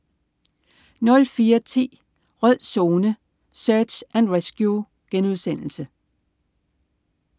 04.10 Rød Zone: Search and Rescue*